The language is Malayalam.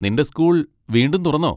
നിന്റെ സ്കൂൾ വീണ്ടും തുറന്നോ?